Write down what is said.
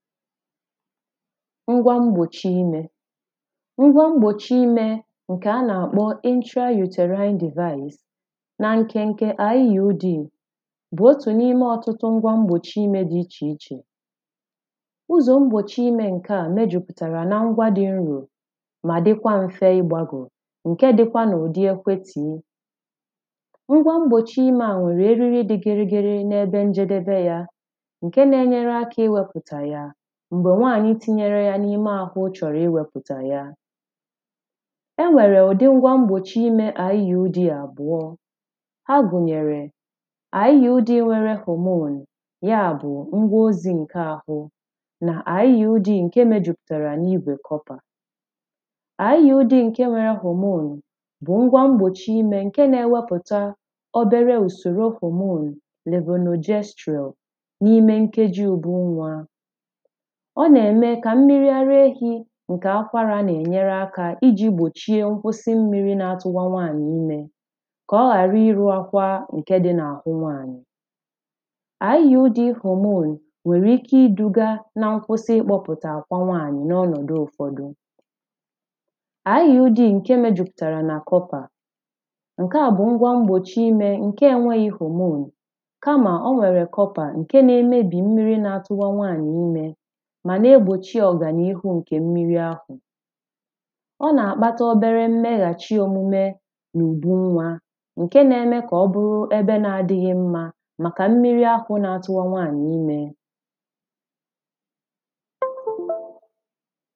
ngwa mgbòchi imē ngwa mgbòchi imē ǹkè a na-àkpọ ịntra-ùtèraịn divais na nke nke iud bụ̀ otù n’ime ọ̀tụtụ ngwa m̀gbòchi imē dị ichè ichè ụzọ̀ m̀gbòchi imē ǹke à mejùpụ̀tàrà na ngwa dị nrò mà dịkwa m̀fe ịgbāgọ̀ ǹke dịkwa n’ụ̀dị ekwe tìe ngwa m̀gbòchi imē a nwèrè eriri dị gịrị gịrị n’ebe njedebe ya ǹke na-enyere akā iwepụ̀tà ya m̀gbè nwaànyị tinyere ya n’ime àhụ chọ̀rọ̀ iwēpụ̀tà ya enwèrè ụ̀dị ngwa m̀gbòchi imē iud àbụ̀ọ ha gùnyèrè IUD nʷéré ɦòmon ya bụ ngwa ozi ǹke àhụ nà iud ǹke mejùpụ̀tàrà n’igwè kọpà IUD ǹke nwere ɦòmon bụ̀ ngwa m̀gbòchi imē ǹke na-enwepụta obere ùsòro ɦòmon lèvènòjestrọ̀ n’ime nkeji ùdu nwa ọ nà-eme kà mmiri ara efī ǹke akwarā nà-ènyere akā ijī gbòchie nkwụsị mmīrī na-atuwa nwaànyị̀ imē kà ọ hara ịrụ akwa ǹke dị n’àhụ nwaànyị̀ IUD ɦòmon nwèrè ike idūgā ná nkwụsị ịkpọpụta akwà nwaànyị̀ n’ọǹọdụ ụfọdụ iud ǹke mejùpụ̀tàrà nà kọpà ǹke à ngwa m̀gbòchi imē ǹke enweghị ɦòmon kamà o nwèrè kọpà ǹke na-emebì mmiri na-atụwa nwaànyị̀ imē mà na-egbochi ọgan’ihu nke mmiri ahụ̀ ọ nà-àkpata obere mmehàchi omume n’ùbu nwa ǹke na-eme ka ọ bụrụ ebe na adịghị mma màkà mmiri ahụ̄ na-atụwa nwaànyị̀ imē